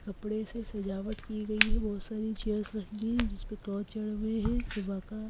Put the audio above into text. कपड़े से सजावट की गई है बहुत सारी चेयर्स रखी गई हैं जिस पर क्लॉथ चढ़े हुए हैं सुबह का--